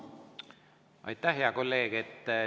Aitäh, hea kolleeg!